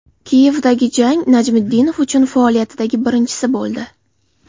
Kiyevdagi jang Najmiddinov uchun faoliyatidagi birinchisi bo‘ldi.